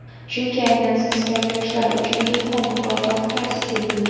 Chunki aynan siz kabi yoshlar uchun "Ilhom" mukofoti ta’sis etildi.